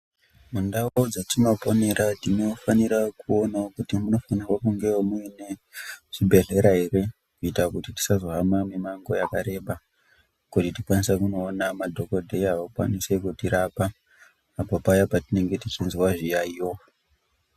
Ndau dzatinoponera tinifanira kuonawo kuti munofanirwa kungewo muine zvibhedhlera here. Kuita kuti tisazohamba mimango yakareba kuti tikwanise kunoonawo madhogodheya vakwanise kutirapa apo paya patinenge tichizwa zviyaiyo.